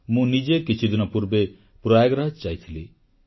ମୁଁ ନିଜେ କିଛିଦିନ ପୂର୍ବେ ପ୍ରୟାଗରାଜ ଯାଇଥିଲି